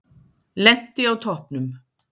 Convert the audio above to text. Lenti á toppnum